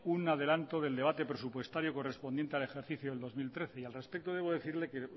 un adelanto del debate presupuestario correspondiente al ejercicio del dos mil trece y al respecto debo decirle que